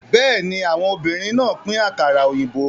Bẹ́ẹ̀ni, àwọn obìnrin náà pín àkàrà òyìnbó.